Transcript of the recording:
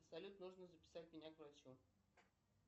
салют нужно записать меня к врачу